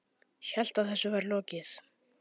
Hélt að þessu væri lokið.